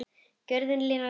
Gjörðin linar takið.